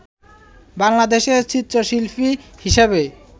বাংলাদেশে চিত্রশিল্পী হিসেবে